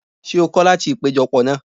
Ṣé o kọ́ láti ìpéjọ pọ̀ náà?